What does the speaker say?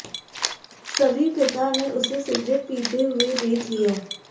सभी पिता ने उसे सिगरेट पीते हुए देख लिया